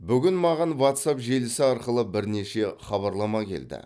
бүгін маған ватсап желісі арқылы бірнеше хабарлама келді